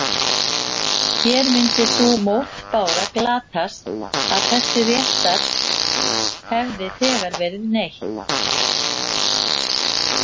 Hér myndi sú mótbára glatast að þessa réttar hefði þegar verið neytt.